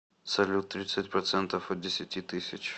салют тридцать процентов от десяти тысяч